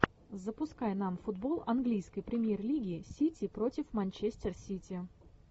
запускай нам футбол английской премьер лиги сити против манчестер сити